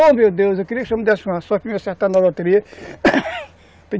Oh, meu Deus, eu queria que o senhor me desse uma sorte para me acertar na loteria